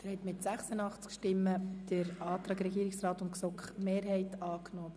Mit 86 Ja- gegen 55 Nein-Stimmen bei 1 Enthaltung haben Sie den Antrag Regierungsrat und GSoKMehrheit angenommen.